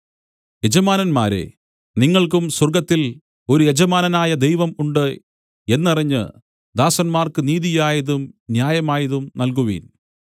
യജമാനന്മാരേ നിങ്ങൾക്കും സ്വർഗ്ഗത്തിൽ ഒരു യജമാനനായ ദൈവം ഉണ്ട് എന്നറിഞ്ഞ് ദാസന്മാർക്ക് നീതിയായതും ന്യായമായതും നൽകുവിൻ